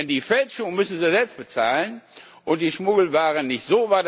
Denn die Fälschungen müssen sie selbst bezahlen und die Schmuggelware nicht.